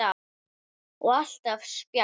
Og alltaf spjall.